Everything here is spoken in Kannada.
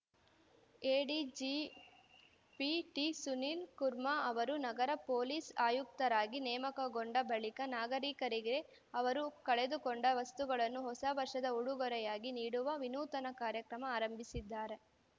ಎಡಿಜಿಪಿ ಟಿಸುನೀಲ್‌ ಕುರ್ಮಾ ಅವರು ನಗರ ಪೊಲೀಸ್‌ ಆಯುಕ್ತರಾಗಿ ನೇಮಕಗೊಂಡ ಬಳಿಕ ನಾಗರಿಕರಿಗೆ ಅವರು ಕಳೆದುಕೊಂಡ ವಸ್ತುಗಳನ್ನು ಹೊಸ ವರ್ಷದ ಊಡುಗೊರೆಯಾಗಿ ನೀಡುವ ವಿನೂತನ ಕಾರ್ಯಕ್ರಮ ಆರಂಭಿಸಿದ್ದಾರೆ